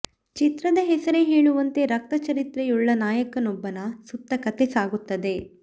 ಚಿತ್ರದ ಹೆಸರೇ ಹೇಳುವಂತೆ ರಕ್ತ ಚರಿತ್ರೆಯುಳ್ಳ ನಾಯಕನೊಬ್ಬನ ಸುತ್ತ ಕಥೆ ಸಾಗುತ್ತದೆ